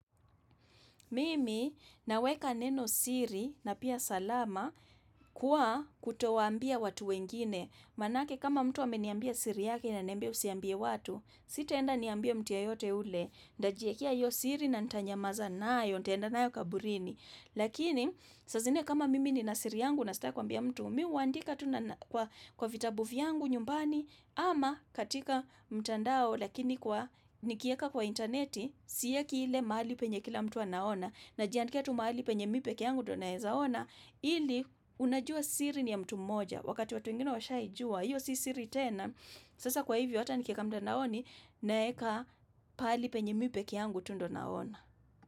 Mimi naweka neno siri na pia salama kuwa kutowaambia watu wengine. Maanake kama mtu ameniambia siri yake na ananiambia usiambie watu, sitaenda niambie mtu yeyote yule. Nitajiekea hiyo siri na nitanyamaza nayo, nitaenda nayo kaburini. Lakini, saa zingine kama mimi nina siri yangu na sitaki kuambia mtu, mimi huandika tu kwa vitabu vyangu nyumbani, ama katika mtandao lakini kwa nikiweka kwa intaneti, Siweki ile mahali penye kila mtu anaona Najiandikia tu mahali penye mimi pekee yangu ndiye naeza ona ili unajua siri ni ya mtu mmoja Wakati watu wengine washaijua Iyo si siri tena Sasa kwa hivyo hata nikieka mtandaoni naeka pahali penye mimi pekee yangu tu ndiyo naona.